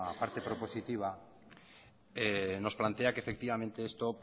parte propositiva nos plantea que efectivamente esto